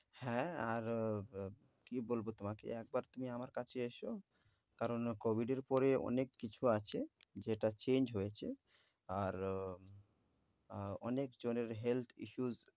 হ্যাঁ আর আহ কি বলব তোমাকে একবার তুমি আমার কাছে এসো। কারণ COVID এর পরে কিছু আছে যেটা change হয়েছে। আর আহ অনেক জনের health issues